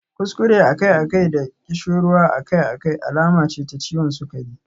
Kuskure akai-akai da ƙishirwa akai-akai alama ce ta ciwon sukari.